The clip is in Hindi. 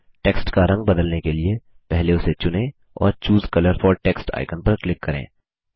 टेक्स्ट का रंग बदलने के लिए पहले उसे चुनें और choose colour for text icon पर क्लिक करें